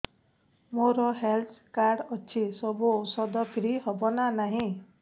ମୋର health card ଅଛି ସବୁ ଔଷଧ ଫ୍ରି ହବ ନା ନାହିଁ